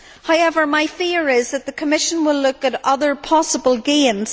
However, my fear is that the Commission will look at other possible gains.